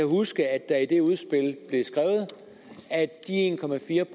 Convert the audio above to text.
huske at der i det udspil blev skrevet at de en